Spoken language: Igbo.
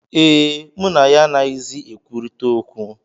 Ee, mụ na ya anaghịzi ekwurịta okwu